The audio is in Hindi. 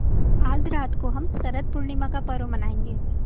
आज रात को हम शरत पूर्णिमा का पर्व मनाएँगे